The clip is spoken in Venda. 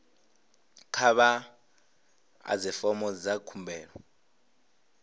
kha vha ḓadze fomo dza khumbelo